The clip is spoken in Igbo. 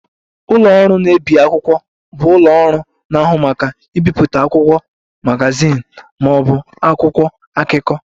Ụlọ ọrụ na-ebi akwụkwọ bụ ụlọ ọrụ na-ahụ maka ibipụta akwụkwọ, magazin ma ọ bụ akwụkwọ akụkọ